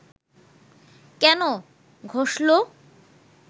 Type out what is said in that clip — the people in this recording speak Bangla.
কেন ঘষল